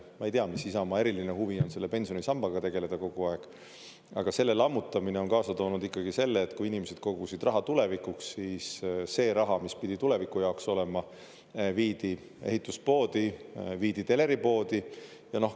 Ma ei tea, mis Isamaa eriline huvi on selle pensionisambaga tegeleda kogu aeg, aga selle lammutamine on kaasa toonud ikkagi selle, et kui inimesed kogusid raha tulevikuks, siis see raha, mis pidi tuleviku jaoks olema, viidi ehituspoodi, viidi teleripoodi.